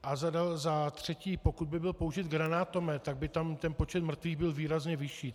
A za třetí, pokud by byl použit granátomet, tak by tam ten počet mrtvých byl výrazně vyšší.